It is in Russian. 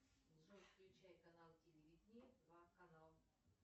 джой включай канал телевидения два канал